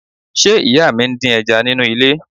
Ṣé ìyá mi ń dín ẹja nínú ilé?